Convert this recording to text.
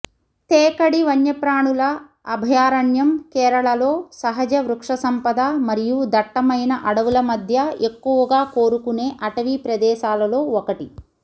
తేకడి వన్యప్రాణుల అభయారణ్యం కేరళలో సహజ వృక్షసంపద మరియు దట్టమైన అడవుల మధ్య ఎక్కువగా కోరుకునే అటవీ ప్రదేశాలలో ఒకటి